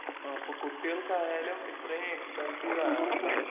ആഹ് അപ്പൊ കുട്ടികൾക്കായാലും ഇത്രേം എക്സ്പെൻസീവാണല്ലേ?